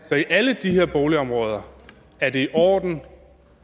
at i alle de her boligområder er det i orden